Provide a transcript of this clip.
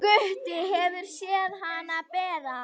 Gutti hefur séð hana bera.